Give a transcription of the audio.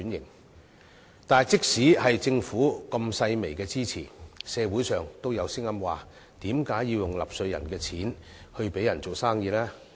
可是，即使政府提供這樣細微的支持，社會上亦有聲音質疑為何要用納稅人的錢給商人用來做生意。